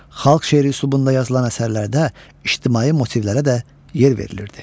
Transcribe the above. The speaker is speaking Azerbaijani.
Xalq şeiri üslubunda yazılan əsərlərdə ictimai motivlərə də yer verilirdi.